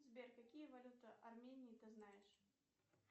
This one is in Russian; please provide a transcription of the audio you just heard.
сбер какие валюты армении ты знаешь